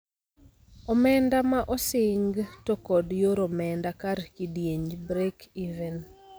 Omenda ma osing to kod yor omenda kar kidienj Break-even.